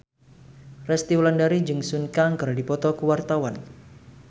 Resty Wulandari jeung Sun Kang keur dipoto ku wartawan